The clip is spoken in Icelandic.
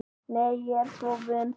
Nei, ég er svo vön því.